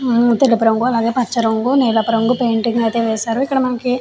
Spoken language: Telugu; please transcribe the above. తెలుపు రంగు నలుపు రంగు పచ్చ రంగు పెయింటింగ్ అయితే వేశారు. ఇక్కడ మనకి --